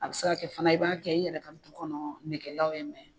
A bɛ se ka kɛ fana i b'a kɛ i yɛrɛ ka du kɔnɔ nɛgɛlaw ye